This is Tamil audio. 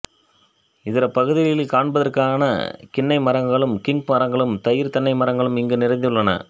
இதர பகுதிகளிற் காண்பதற்கரிதான கின்னை மரங்களும் கிங் மரங்களும் தயிர்த் தென்னை மரங்களும் இங்கு நிறைந்துள்ளன